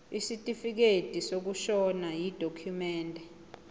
isitifikedi sokushona yidokhumende